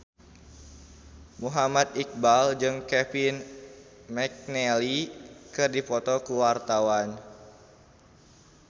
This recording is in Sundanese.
Muhammad Iqbal jeung Kevin McNally keur dipoto ku wartawan